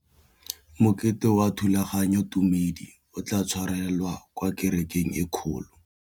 Mokete wa thulaganyôtumêdi o tla tshwarelwa kwa kerekeng e kgolo.